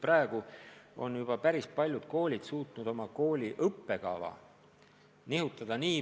Praegu on juba päris paljud koolid suutnud oma õppekava nihutada.